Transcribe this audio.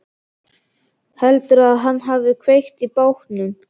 Heldurðu að hann hafi kveikt í bátnum?